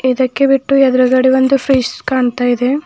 ಇದಕ್ಕೆ ಬಿಟ್ಟು ಎದ್ರುಗಡೆ ಒಂದು ಫ್ರೆಷ್ ಕಾಣ್ತಾ ಇದೆ.